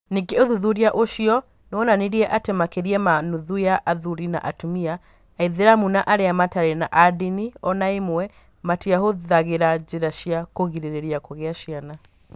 Ningĩ ũthuthuria ũcio nĩ wonanirie atĩ makĩria ma nuthu ya athuri na atumia Aithĩramu na arĩa mataarĩ a ndini o na ĩmwe, matiahũthagĩra njĩra cia kũgirĩrĩria kũgĩa ciana.